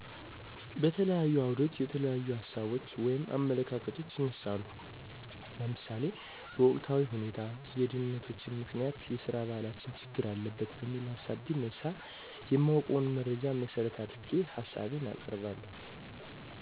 በተለያዩ አዉደች የተለያዪሀሳቦች (አመለካከቶች)ይነሳሉ ለምሳሌ በወቅታዊሁኔታ የድህነተችን ምከንያት የሰራባህላችን ችግር አለበት በሚል ሀሳብ ቢነሳ የማወቀዉን መረጃን መሠረት አድርጌ ሀሳቤን አቀርባለሁ።